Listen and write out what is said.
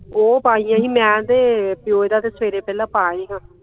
ਉਹ ਪਾਈਆਂ ਹੀ ਮੈਂ ਤੇ ਪਿਓ ਇਹਦਾ ਸਵੇਰੇ ਪਹਿਲਾਂ ਪਾ ਆਏ ਸਾ